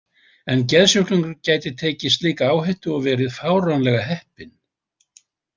En geðsjúklingur gæti tekið slíka áhættu og verið fáránlega heppinn.